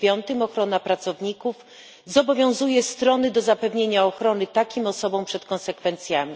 9 o ochronie pracowników zobowiązuje strony do zapewnienia ochrony takim osobom przed konsekwencjami.